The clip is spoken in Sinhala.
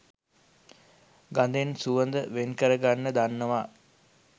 ගදෙන් සුවඳ වෙන්කරගන්න දන්නවා